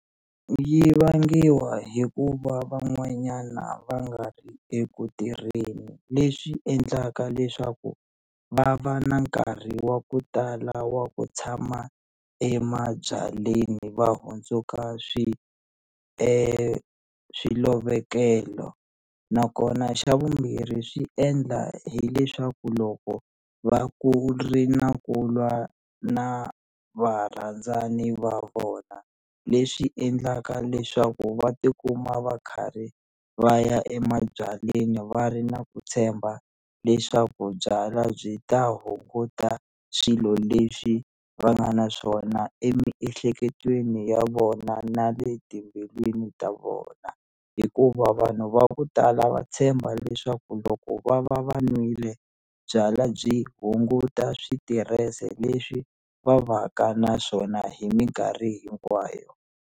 Yi vangiwa hikuva van'wanyana va nga ri eku tirheni leswi endlaka leswaku va va na nkarhi wa ku tala wa ku tshama emabyalweni va hundzuka swi swilovekelo nakona xa vumbirhi swi endla hileswaku loko va ku ri na ku lwa na varandzani va vona leswi endlaka leswaku va tikuma va karhi va ya emabyalweni va ri na ku tshemba leswaku byalwa byi ta hunguta swilo leswi va nga na swona emiehleketweni ya vona na le timbilwini ta vona hikuva vanhu va ku tala va tshemba leswaku loko va va va nwile byalwa byi hunguta switirese leswi va va ka naswona hi minkarhi hinkwayo.